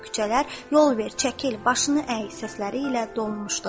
Küçələr "Yol ver, çəkil, başını əy" səsləri ilə dolmuşdu.